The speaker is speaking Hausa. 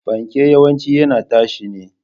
Fanke yawanci yana tashi ne.